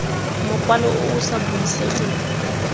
mokwalo o o sa buisegeng